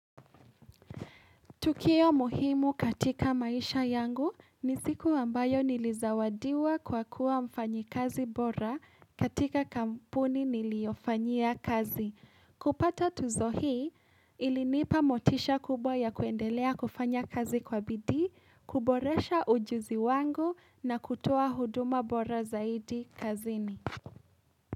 Tukio muhimu katika maisha yangu ni siku ambayo nilizawadiwa kwa kuwa mfanyikazi bora katika kampuni niliyofanyia kazi. Kupata tuzo hii ilinipa motisha kubwa ya kuendelea kufanya kazi kwa bidii, kuboresha ujuzi wangu na kutoa huduma bora zaidi kazini.